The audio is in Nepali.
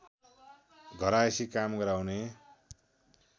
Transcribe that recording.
घरायसी काम गराउने